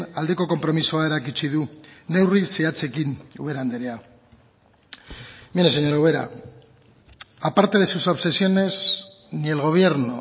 aldeko konpromisoa erakutsi du neurri zehatzekin ubera andrea mire señora ubera a parte de sus obsesiones ni el gobierno